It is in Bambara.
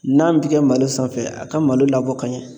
N'a bi kɛ malo sanfɛ a kɛ malo labɔ ka ɲɛ